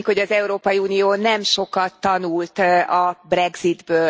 Úgy tűnik, hogy az Európai Unió nem sokat tanult a Brexitből.